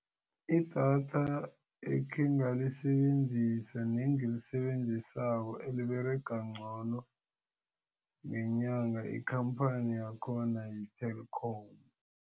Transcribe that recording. Idatha ekhe ngalisebenzisana nengilisebenzisako eliberega ngcono ngenyanga ikhamphani yakhona yi-TELKOM.